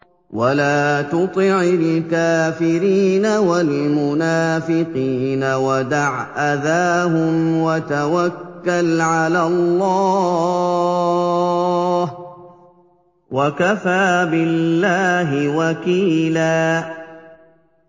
وَلَا تُطِعِ الْكَافِرِينَ وَالْمُنَافِقِينَ وَدَعْ أَذَاهُمْ وَتَوَكَّلْ عَلَى اللَّهِ ۚ وَكَفَىٰ بِاللَّهِ وَكِيلًا